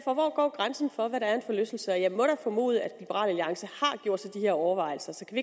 går grænsen for hvad der er en forlystelse jeg må formode at liberal alliance har gjort sig de her overvejelser så kan